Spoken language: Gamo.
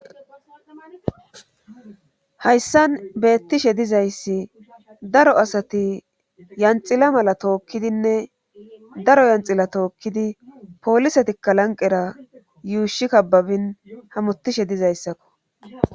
Hayssan beettishe dizayssi daro asati yanxila mala tookkidinne daro yanxila tookkidi poolisatikka lanqera yuushi kababin hamutishe dizayssakko